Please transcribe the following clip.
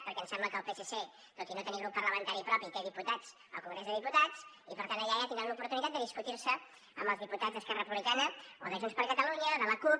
perquè em sembla que el psc tot i no tenir grup parlamentari propi té diputats al congrés de diputats i per tant allà ja tindran l’oportunitat de discutir se amb els diputats d’esquerra republicana o de junts per catalunya de la cup